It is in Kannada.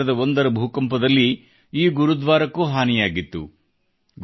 2001 ರ ಭೂಕಂಪದಲ್ಲಿ ಈ ಗುರುದ್ವಾರಕ್ಕೂ ಹಾನಿಯಾಗಿತ್ತು